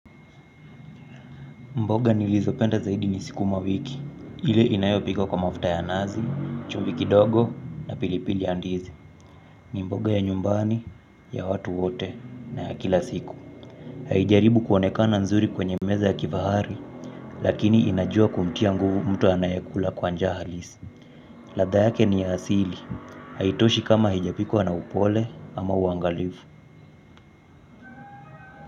Mboga nilizopenda zaidi ni sikumawiki, ile inayopikwa kwa mafuta ya nazi, chumvi ikidogo na pilipili ya ndizi. Ni mboga ya nyumbani, ya watu wote na ya kila siku. Haijaribu kuonekana nzuri kwenye meza ya kifahari, lakini inajua kumtia nguvu mtu anayekula kwa njia halisi. Ladha yake ni ya asili, haitoshi kama hijapikwa na upole ama uangalifu.